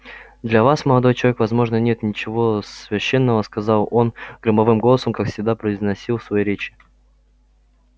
для вас молодой человек возможно нет ничего священного сказал он громовым голосом как всегда произносил свои речи